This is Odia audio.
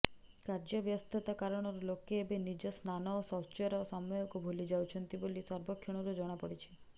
କାର୍ଯ୍ୟବ୍ୟସ୍ତତା କାରଣରୁ ଲୋକେ ଏବେ ନିଜ ସ୍ନାନ ଓ ଶୌଚର ସମୟକୁ ଭୁଲିଯାଉଛନ୍ତି ବୋଲି ସର୍ବେକ୍ଷଣରୁ ଜଣାପଡ଼ିଛି